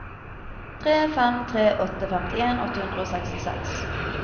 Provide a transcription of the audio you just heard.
tre fem tre åtte femtien åtte hundre og sekstiseks